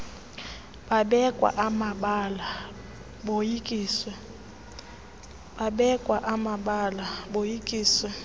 babekwa amabala boyikiswe